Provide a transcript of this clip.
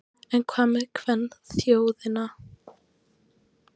En hvað með kvenþjóðina?